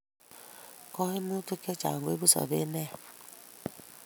kaimukut chachang koibu sobet neya